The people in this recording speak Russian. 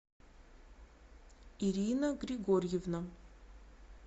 ирина григорьевна